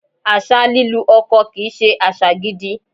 Àṣà lílu ọkọ kì í ṣe àṣà gidi.